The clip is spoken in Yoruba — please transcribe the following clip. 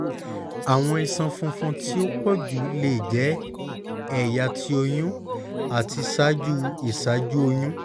awọn iṣan funfun ti o pọju le jẹ ẹya ti oyun ati ṣaaju iṣaaju oyun